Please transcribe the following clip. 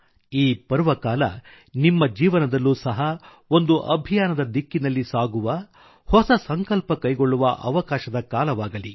ಈ ಪರ್ವದಿನವು ನಿಮ್ಮ ಜೀವನದಲ್ಲೂ ಸಹ ಒಂದು ಅಭಿಯಾನದ ದಿಕ್ಕಿನಲ್ಲಿ ಸಾಗುವಹೊಸ ಸಂಕಲ್ಪ ಕೈಗೊಳ್ಳುವ ಅವಕಾಶದ ದಿನವಾಗಲಿ